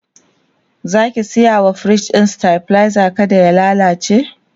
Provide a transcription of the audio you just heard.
Zaki saya wa firij ɗin stabilizer kada ya lallace?